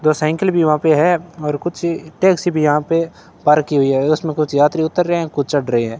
दो साइकिल भी वहां पे है और कुछ टैक्सी भी यहां पे पार्क की हुई है उसमें कुछ यात्री उतर रहे हैं कुछ चढ़ रहे है।